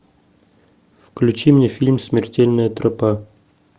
включи мне фильм смертельная тропа